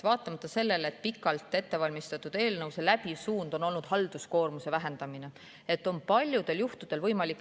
Tõesti, pikalt ettevalmistatud eelnõu läbiv suund on olnud halduskoormuse vähendamine paljudel juhtudel.